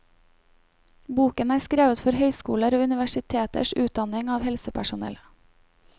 Boken er skrevet for høyskoler og universiteters utdanning av helsepersonell.